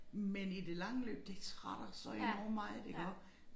Men i det lange løb det trætter så enormt meget iggå